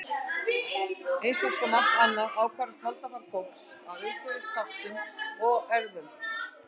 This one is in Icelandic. Eins og með margt annað ákvarðast holdafar fólks af umhverfisþáttum og erfðum.